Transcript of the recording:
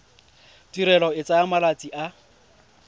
tirelo e tsaya malatsi a